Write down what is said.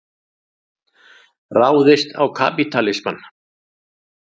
Ráðist á kapítalismann.